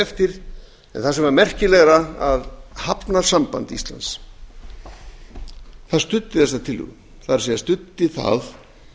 það sem var merkilegra var að hafnasamband íslands studdi þessa tillögu það er studdi það